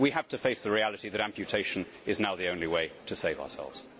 We have to face the reality that amputation is now the only way to save ourselves.